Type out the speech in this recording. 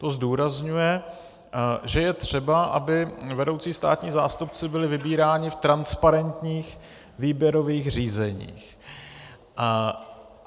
To zdůrazňuje, že je třeba, aby vedoucí státní zástupci byli vybíráni v transparentních výběrových řízeních.